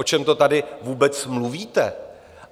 O čem to tady vůbec mluvíte?